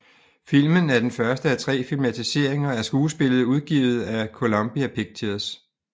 Filmen er den første af tre filmatiseringer af skuespillet udgivet af Columbia Pictures